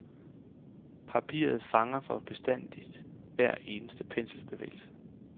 Papiret fanger for bestandig hver eneste penselbevægelse.